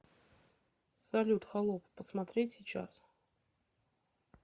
салют холоп посмотреть сейчас